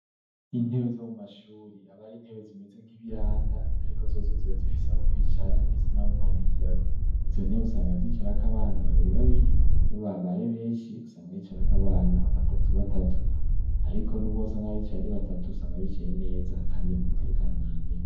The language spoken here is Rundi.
Intebe zo mu mashuri, aba ari intebe zimize nk'ibiranda ariko zozo ziba zifise aho kwicara ndetse naho kwandikirako. Izo ntebe usanga zicarako abana babiri babiri iyo babaye benshi usanga bicarako abana batatu batatu ariko nubwo usanga bicaye ari batatu usanga bicaye neza kandi mu mutekano ntangere.